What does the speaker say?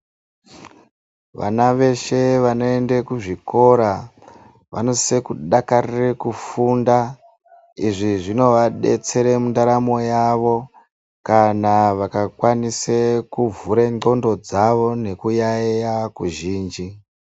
Vana veshe vanoenda kuzvikora vanosise kudakarire kufunda izvi zvinovabetsere mundaramo yavo kana vakakwanise kuvhera ndxondo dzavo nekuyaiya kuzhinji.